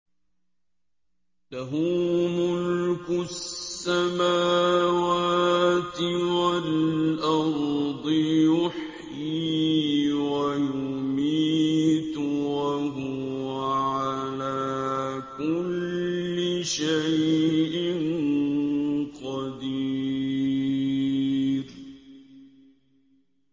لَهُ مُلْكُ السَّمَاوَاتِ وَالْأَرْضِ ۖ يُحْيِي وَيُمِيتُ ۖ وَهُوَ عَلَىٰ كُلِّ شَيْءٍ قَدِيرٌ